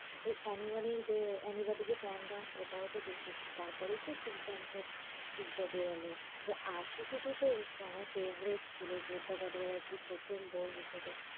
ওই anymony যে anybody যে can dance ওটাও তো দেখেছি তারপরেই তো street dancer three টা বের হল। ওই ashiqui two তো উফ বাবা favourite ছিল শ্রদ্ধা কাপুরের আরকি প্রথম বই হিসেবে।